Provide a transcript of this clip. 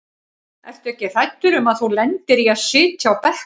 Ertu ekkert hræddur um að þú lendir í að sitja á bekknum?